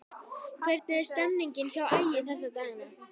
Hvernig er stemningin hjá Ægi þessa dagana?